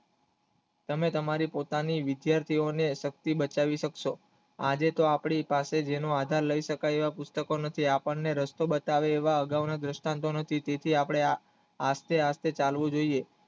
તમે તમારી પોતાની વિદ્યાર્થી હોવાની શક્તિ બતાવી સક્સો આજે તો આપણી પાસે જેનું આધાર લય શકાય એવા પુસ્તકો નથી તમને રસ્તો બતાવે એવા અગવના દ્રાસ્તન્ટ તેથી આપણે આ રીતે ચાલવું જોઇએ